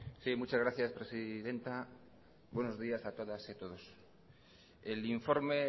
sí muchas gracias presidenta buenos días a todas y a todos el informe